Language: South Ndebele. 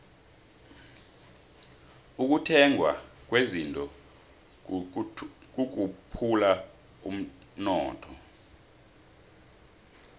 ukuthengwa kwezinto kukhuphula umnotho